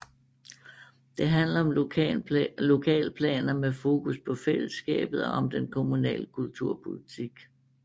Det handler om lokalplaner med fokus på fællesskabet og om den kommunale kulturpolitik